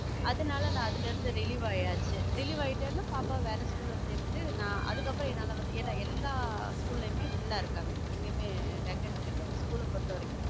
அதுனால நா அதுல இருத்து relieve ஆயாச்சி relieve ஆயிட்டேன பாப்பாவ வேற school ல சேத்துட்டு நா அதுக்கப்பறம் என்னால வந்து ஏனா எல்லா school யுமே ஆ full ஆ இருக்காங்க எங்கேயுமே vacant கெடையாது school ல பொறுத்த வரைக்கும்